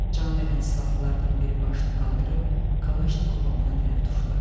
Can verən silahlılardan biri başını qaldırıb Kalaşnikovu ona tərəf tuşladı.